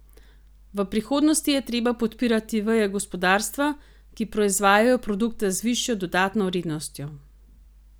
V prihodnosti je treba podpirati veje gospodarstva, ki proizvajajo produkte z višjo dodatno vrednostjo.